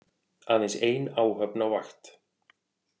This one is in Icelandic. Aðeins ein áhöfn á vakt